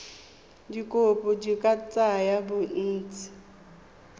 dikopo di ka tsaya bontsi